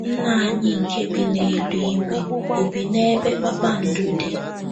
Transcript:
‘ Nna anyị nke bi n’eluigwe ’ ò bi n’ebe kpakpando dị?